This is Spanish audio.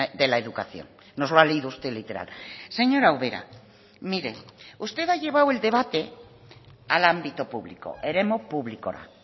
de la educación nos lo ha leído usted literal señora ubera mire usted ha llevado el debate al ámbito público eremu publikora